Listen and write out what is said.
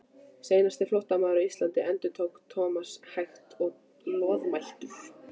Seinasti flóttamaður á Íslandi endurtók Thomas hægt og loðmæltur.